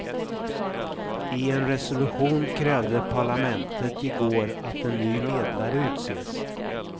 I en resolution krävde parlamentet i går att en ny medlare utses.